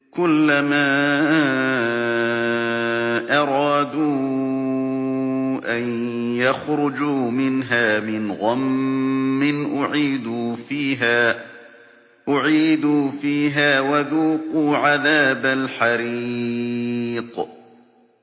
كُلَّمَا أَرَادُوا أَن يَخْرُجُوا مِنْهَا مِنْ غَمٍّ أُعِيدُوا فِيهَا وَذُوقُوا عَذَابَ الْحَرِيقِ